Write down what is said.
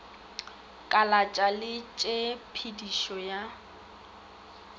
kalatša le tshe pedišo ya